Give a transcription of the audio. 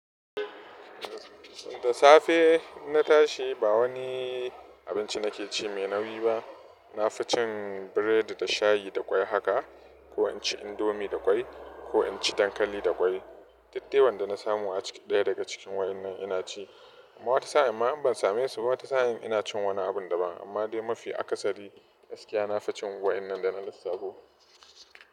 Da safe na tashi ba wani abinci na ke ci mai nauyi ba. Na fi cin biredi da shayi da ƙwai haka ko in ci indomi da ƙwai ko in ci dankali da ƙwai. Daddai wan da na samu a cikin ɗaya daga cikin waɗannan ina ci. Amma wata sa'in ma in ban same su ba, wata sa'in ina cin wani abun daban. Amma dai mafi akasari gaskiya na fi cin waɗannan da na lissafo.